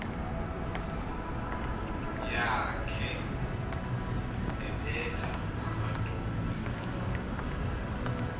yakhe ebetha amadoda